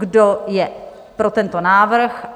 Kdo je pro tento návrh?